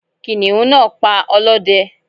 kìnìún náa pa olóde